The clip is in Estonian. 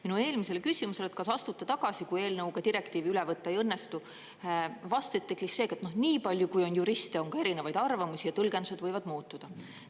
Minu eelmisele küsimusele, kas astute tagasi, kui eelnõuga direktiivi üle võtta ei õnnestu, vastasite klišeega, et nii palju, kui on juriste, on ka erinevaid arvamusi ja tõlgendused võivad muutuda.